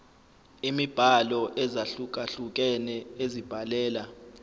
imibhalo ezahlukehlukene ezibhalela